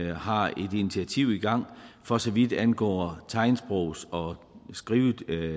har et initiativ i gang for så vidt angår tegnsprogs og skrivetolkning